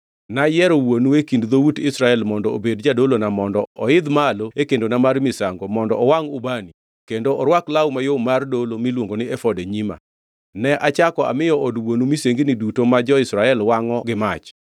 Nayiero wuonu e kind dhout Israel mondo obed jadolona mondo oidh malo e kendona mar misango, mondo owangʼ ubani, kendo orwak law mayom mar dolo miluongo ni efod e nyima. Ne achako amiyo od wuonu misengini duto ma jo-Israel wangʼo gi mach.